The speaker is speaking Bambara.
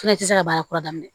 Fɛnɛ tɛ se ka baara kura daminɛ